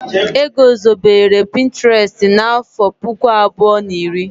E gozobere pinturestu n'àfọ́ puku abụọ na iri.